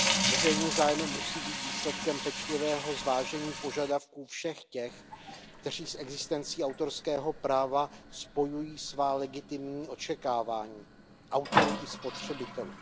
Veřejný zájem musí být výsledkem pečlivého zvážení požadavků všech těch, kteří s existencí autorského práva spojují svá legitimní očekávání, autorů i spotřebitelů.